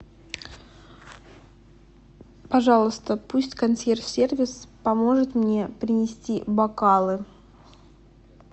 пожалуйста пусть консьерж сервис поможет мне принести бокалы